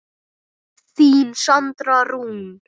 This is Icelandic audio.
Þín Sandra Rún.